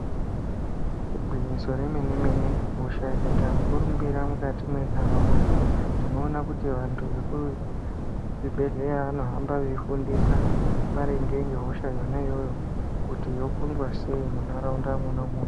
Igwinyiso remene mene kuti hosha ikaita mukurumbira mukati mwenharaunda vekuchibhehlera vanohamba munharaunda vachitaura maringe nehosha kuti yokundwa sei munharaunda mwona umwomwo.